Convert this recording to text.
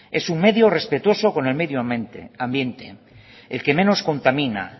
es un medio respetuoso con el medio ambiente el que menos contamina